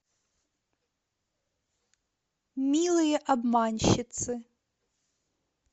милые обманщицы